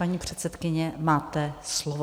Paní předsedkyně, máte slovo.